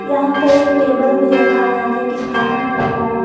यहां पे एक टेबल भी रखा हुआ है जो कि ब्राउन कलर का है।